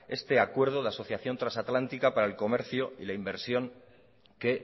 este acuerdo de asociación trasatlántica para el comercio y la inversión que